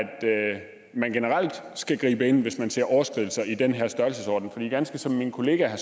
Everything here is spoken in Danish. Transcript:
man generelt skal gribe ind hvis man ser overskridelser i den her størrelsesorden for ganske som min kollega